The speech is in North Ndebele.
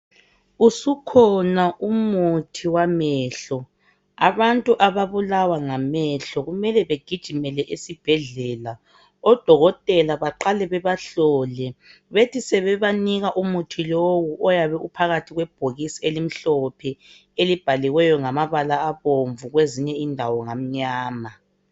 Usukhona umuthi wamehlo abantu ababulawa ngamehlo kumele begijimele esibhedlela odokotela baqale bebahlole bethi sebebanika umuthi lowu ophakathi kwebhokisi elimhlophe elibhaliweyo ngamabala abomvu kwezinye indawo ngamnyama